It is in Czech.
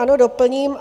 Ano, doplním.